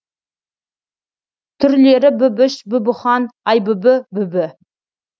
түрлері бүбіш бүбіхан айбүбі бүбі